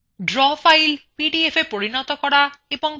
কিভাবে একটি draw fileকে পিডিএফa পরিনত করা